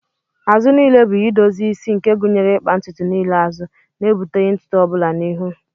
Azụ niile bụ edozi isi nke gụnyere ịkpa ntutu niile azụ, na-ebuteghị ntutu ọbụla n'ihu.